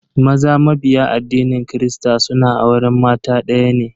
Maza mabiya addinin kirista suna auren mata daya ne.